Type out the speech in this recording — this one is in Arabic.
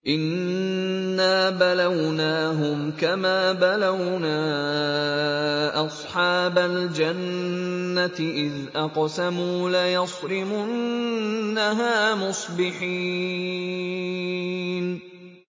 إِنَّا بَلَوْنَاهُمْ كَمَا بَلَوْنَا أَصْحَابَ الْجَنَّةِ إِذْ أَقْسَمُوا لَيَصْرِمُنَّهَا مُصْبِحِينَ